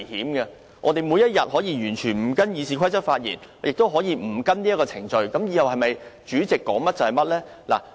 本會是否每天都可以完全不依照《議事規則》發言，也不須遵守程序，以後由主席當一言堂呢？